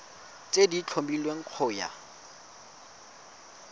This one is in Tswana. tse di tlhomilweng go ya